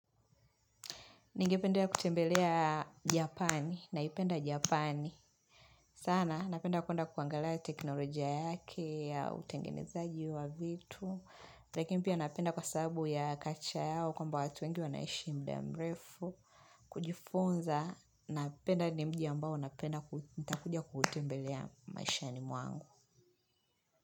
Ningetembea kutembelea japani, naipenda japani. Sana, napenda kuwenda kuangalaya teknoloja yake, ya utengenezaji wa vitu. Lakini pia napenda kwa sababu ya kacha yao kwamba watu wengi wanaishi mda mrefu. Kujifunza, napenda ni mji ambao napenda nitakuja kutembelea maishani mwangu.